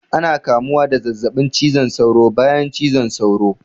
Ana kamuwa da zazzaɓin cizon saura bayan cizon sauro